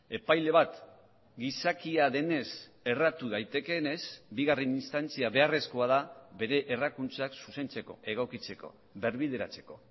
epaile bat gizakia denez erratu daitekeenez bigarren instantzia beharrezkoa da bere errakuntzak zuzentzeko egokitzeko berbideratzeko